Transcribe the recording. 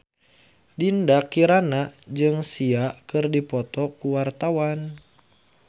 Dinda Kirana jeung Sia keur dipoto ku wartawan